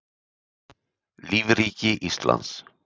lífríki íslands